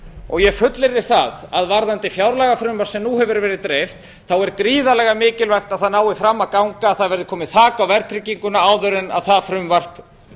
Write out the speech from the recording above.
og ég fullyrði að varðandi fjárlagafrumvarp sem nú hefur verið dreift þá er gríðarlega mikilvægt að það nái fram að ganga það verði komið þak á verðtrygginguna áður en það frumvarp